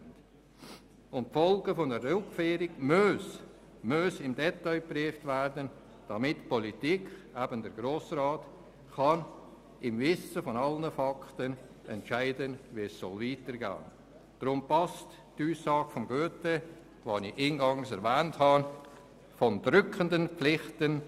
Über die Folgen einer Rückführung muss im Detail berichtet werden, damit die Politik, eben der Grosse Rat, im Wissen um alle Fakten entscheiden kann, wie es weitergehen soll.